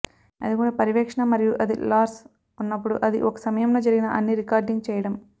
అది కూడా పర్యవేక్షణ మరియు అది లార్స్ ఉన్నప్పుడు అది ఒక సమయంలో జరిగిన అన్ని రికార్డింగ్ చేయడం